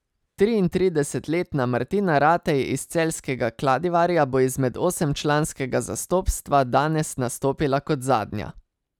Triintridesetletna Martina Ratej iz celjskega Kladivarja bo izmed osemčlanskega zastopstva danes nastopila kot zadnja.